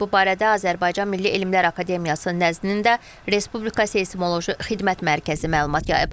Bu barədə Azərbaycan Milli Elmlər Akademiyası nəzdində Respublika seysmoloji xidmət mərkəzi məlumat yayıb.